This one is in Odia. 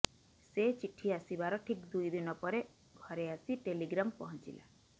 ସେ ଚିଠି ଆସିବାର ଠିକ୍ ଦୁଇଦିନ ପରେ ଘରେ ଆସି ଟେଲିଗ୍ରାମ୍ ପହଞ୍ଚିଲା